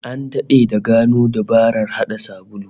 An dade da gano dabarar hada sabulu